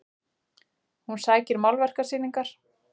Hún sækir málverkasýningar